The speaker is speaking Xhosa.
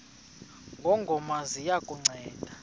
ngongoma ziya kukunceda